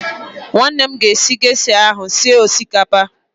Nwanne m ga-esi gesha ahụ sie osikapa